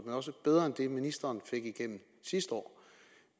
men også bedre end det ministeren fik igennem sidste år